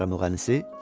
Opera müğənnisi?